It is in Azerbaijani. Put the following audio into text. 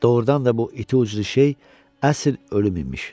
Doğrudan da bu iti uclu şey əsl ölüm imiş.